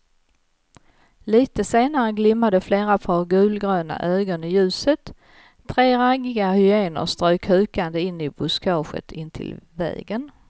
Litet senare glimmade flera par gulgröna ögon i ljuset, tre raggiga hyenor strök hukande in i buskaget intill vägen.